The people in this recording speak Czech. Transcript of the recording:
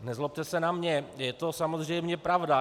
Nezlobte se na mě, je to samozřejmě pravda.